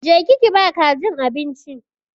Je ki ki ba kajin abinci!